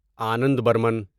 Anand Burman